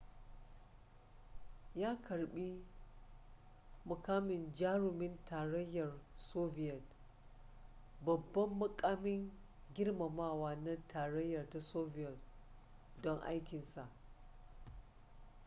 ya karbi jarumin tarayyar soviyet babban mukamin girmamawa na tarayyar ta soviyet don aikinsa